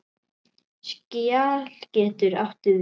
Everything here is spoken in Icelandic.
Skjal getur átt við